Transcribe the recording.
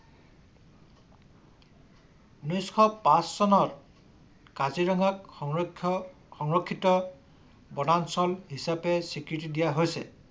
ঊনৈশ পাচ চনত কাজিৰঙাক সংৰক্ষ সংৰক্ষিত বনাঞ্চল হিচাপে স্বীকৃতি দিয়া হৈছে